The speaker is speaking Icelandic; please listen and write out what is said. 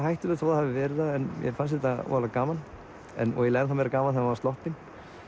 hættulegt þó það hafi verið það en mér fannst þetta voðalega gaman og ennþá meira gaman þegar maður var sloppinn